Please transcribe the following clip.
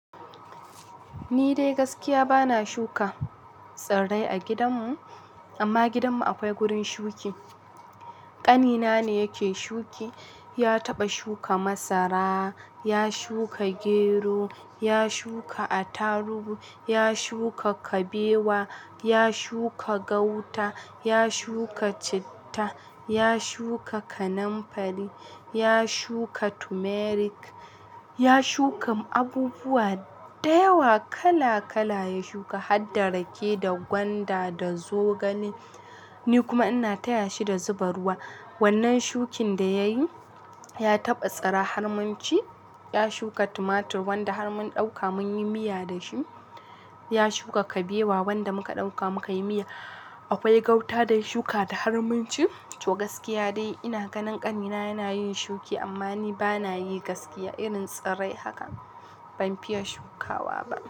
Ni dai gaskiya bana shuka tsirrai a gidanmu, amma gidanmu akwai gurin shuki. Ƙanina ne yake shuki. Ya taɓa shuka masara, ya shuka gero, ya shuka attarugy, ya shuka kabewa, ya shuka gauta, ya shuka citta, ya shuka kanamfari, ya shuka tumeric. Ya shuka abubuwa da yawa kala kala ya shuka, har da rake da gwanda da zogale. Ni kuma ina taya shi da zuba ruwa. Wannan shukin da ya yi ya taɓa tsira har mun ci. Ya shuka tumatur wanda har mun ɗauka mun yi miya da shi. Ya shuka kabewa wanda muka ɗauka muka yi miya. Akwai gauta da ya shuka da har mun ci. To gaskiya dai ina ganin ƙanina yana yin shuki amma ni bana yi gaskiya irin tsirrai haka ban fiya shukawa ba.